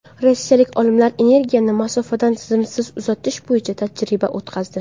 Rossiyalik olimlar energiyani masofadan simsiz uzatish bo‘yicha tajriba o‘tkazdi.